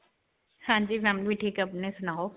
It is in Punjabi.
ਹਾਂਜੀ. family ਵੀ ਠੀਕ ਹੈ. ਅਪਣਾ ਸੁਣਾਓ?